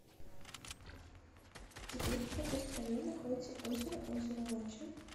сбер в какой стране находится озеро озеро лача